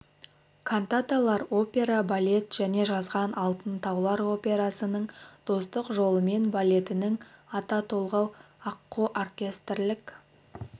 кантаталар опера балет және жазған алтын таулар операсының достык жолымен балетінің ата толғау аққу оркестрлік